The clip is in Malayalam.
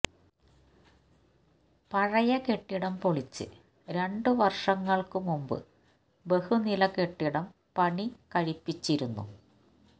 പഴയ കെട്ടിടം പൊളിച്ച് രണ്ട് വര്ഷങ്ങള്ക്ക് മുമ്പ് ബഹുനില കെട്ടിടം പണികഴിപ്പിച്ചിരുന്നു